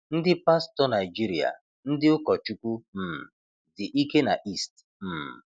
Ndị pastọ Naijiria-ndị ụkọchukwu um dị ike na East. um